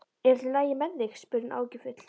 Er allt í lagi með þig? spurði hún áhyggjufull.